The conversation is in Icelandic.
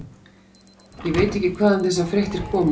Ég veit ekki hvaðan þessar fréttir koma.